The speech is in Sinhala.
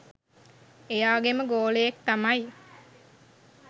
එයාගෙම ගෝලයෙක් තමයි.